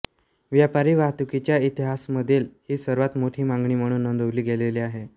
व्यापारी वाहतुकीच्या इतिहासामधील ही सर्वांत मोठी मागणी म्हणून नोंदविली गेलेली आहे